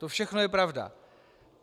To všechno je pravda.